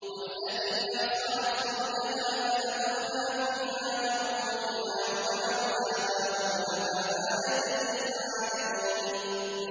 وَالَّتِي أَحْصَنَتْ فَرْجَهَا فَنَفَخْنَا فِيهَا مِن رُّوحِنَا وَجَعَلْنَاهَا وَابْنَهَا آيَةً لِّلْعَالَمِينَ